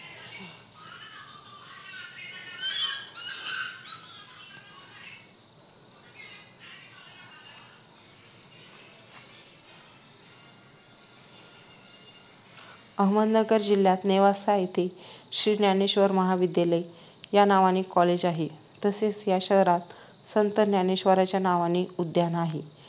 अहमदनगर जिल्ह्यात नेवासा येथे श्री ज्ञानेश्वर महाविद्यालय या नावाचे Collage आहे तसेच या शहरात संत ज्ञानेश्वरांच्या नावाने उद्यान आहे